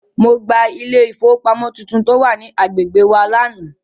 Mo gba ilé ìfowópamọ́ tuntun tó wà ní agbègbè wa lánàá.